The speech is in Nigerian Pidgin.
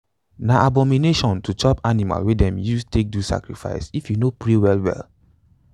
na abomination to chop animal wey them don use take do sacrifice if you no pray well well.